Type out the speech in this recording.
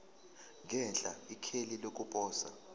ngenhla ikheli lokuposa